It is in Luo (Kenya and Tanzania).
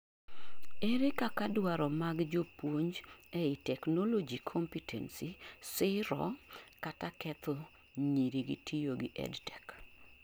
ere kaka dwaro mag jopuonj eei technology competency siro kata ketho nyiri gi tiyo gi EdTech?